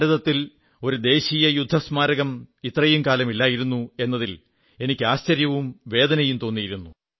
ഭാരതത്തിൽ ഒരു ദേശീയ യുദ്ധസ്മാരകം ഇത്രയും കാലം ഇല്ലായിരുന്നു എന്നതിൽ എനിക്ക് ആശ്ചര്യവും വേദനയും തോന്നിയിരുന്നു